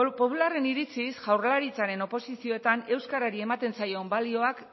popularren iritziz jaurlaritzaren oposizioetan euskarari ematen zaion balioak